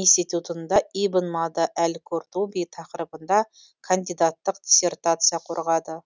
институтында ибн мада әл куртуби тақырыбында кандидаттық диссертация қорғады